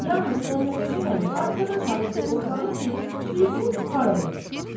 Yalnız Məmmədhəsən əmi arxadan çağırdı oğlanı ki, bilsin hara gedir.